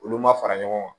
Olu ma fara ɲɔgɔn kan